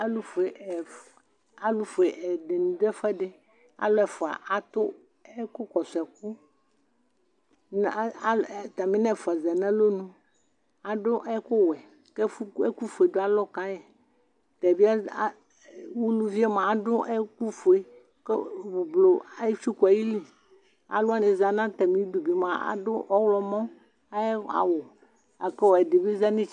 alʊfue ɛdɩnɩ dʊ ɛfʊɛdɩ, alʊ ɛfua atʊ ɛkʊ kɔsʊ ɛkʊ, kʊ ataminɛfua ya nʊ alɔnu, adʊ ɛkʊwɛ, kʊ ɛkʊfue dʊ alɔ ka yi, uluvi yɛ adʊ ɛkʊfue, kʊ avavlitsɛ etsuku ayili, alʊwanɩ zati nʊ atamidʊ adʊ ɔwlɔmɔ ayʊ awu, la kʊ ɛdɩbɩ za nʊ itsɛdɩ